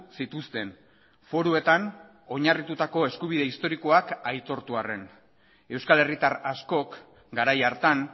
zituzten foruetan oinarritutako eskubide historikoak aitortu arren euskal herritar askok garai hartan